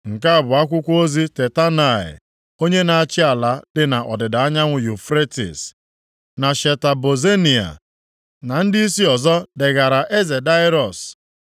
Nke a bụ akwụkwọ ozi Tatenai, onye na-achị ala dị nʼọdịda anyanwụ Yufretis, na Sheta Bozenai, na ndịisi ọzọ degara eze Daraiọs: